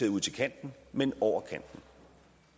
ud til kanten men over kanten